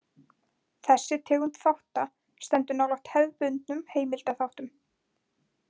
Þessi tegund þátta stendur nálægt hefðbundnum heimildaþáttum.